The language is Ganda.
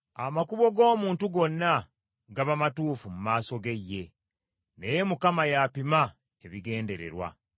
Amakubo g’omuntu gonna gaba matuufu mu maaso ge ye, naye Mukama y’apima ebigendererwa.